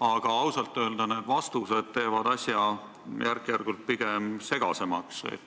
aga ausalt öelda, vastused teevad asja pigem järk-järgult segasemaks.